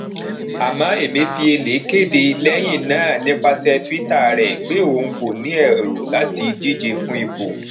àmọ emefiele kéde lẹyìn náà nípasẹ twitter rẹ pé òun kò ní èrò láti díje fún ipò